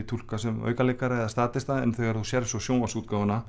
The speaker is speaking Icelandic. túlka sem aukaleikara eða en þegar þú sérð svo